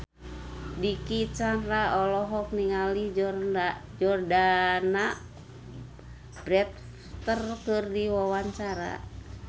Dicky Chandra olohok ningali Jordana Brewster keur diwawancara